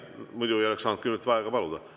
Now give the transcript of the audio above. Muidu ei oleks saanud kümmet minutit vaheaega paluda.